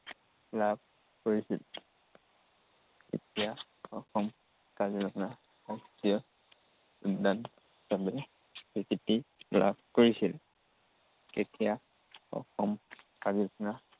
লাভ কৰিছিল। কেতিয়া অসম কাজিৰঙা ৰাষ্ট্ৰীয় উদ্য়ান হিচাপে স্বীকৃতি লাভ কৰিছিল। যেতিয়া অসম